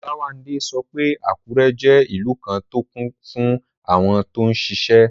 Olawande sọ pé Àkúrẹ́ jẹ́ ìlú kan tó kún fún àwọn tó n ṣiṣẹ́